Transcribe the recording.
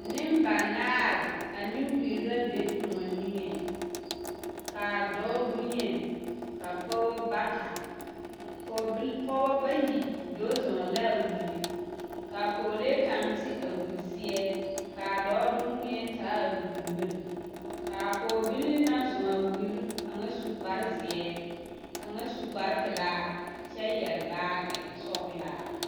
Nembanaare ane wiri la be kõɔ niŋe dɔɔ bonyeni pɔɡebɔ bata pɔɔbɔ bayi do zɔɔ la a wiri ka a pɔɔlee kaŋ te a wiri seɛ ka a dɔɔ doŋwēɛ taa a wiri miri ka a pɔɡebilii na naŋ zɔɔ a wiri kaŋa su kparzeɛ kaŋa su kparpelaa kyɛ yɛre baaɡesɔɡelaa.